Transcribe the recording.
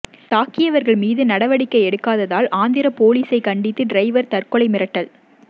தாக்கியவர்கள் மீது நடவடிக்கை எடுக்காததால் ஆந்திரா போலீசை கண்டித்து டிரைவர் தற்கொலை மிரட்டல்